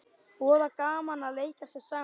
Voða gaman að leika sér saman